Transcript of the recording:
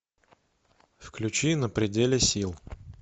включи на пределе сил